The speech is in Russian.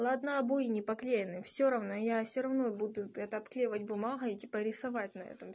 ладно обои не поклеены всё равно я всё равно буду это обклеивать бумагой и типа рисовать на этом